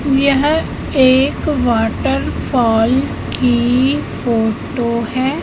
यह एक waterfall की फोटो है।